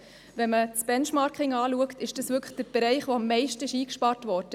Wenn man das Benchmarking anschaut, sieht man, dass in diesem Bereich am meisten eingespart wurde.